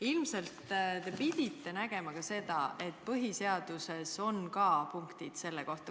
Ilmselt te pidite teadma ka seda, et põhiseaduses on punktid selle kohta.